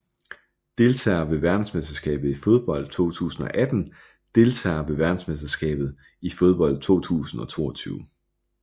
Deltagere ved verdensmesterskabet i fodbold 2018 Deltagere ved verdensmesterskabet i fodbold 2022